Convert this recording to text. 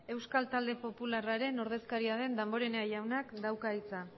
euskal talde popularraren ordezkaria den damborenea jaunak dauka hitza